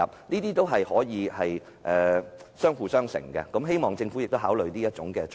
這項措施可以發揮相輔相成的作用，希望政府考慮。